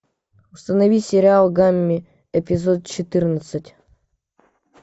установи сериал гамми эпизод четырнадцать